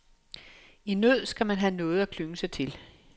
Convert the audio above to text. I nød skal man have noget at klynge sig til.